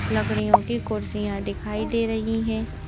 लकड़ियों की कुर्सियां दिखाई दे रही हैं।